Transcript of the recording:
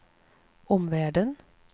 omvärlden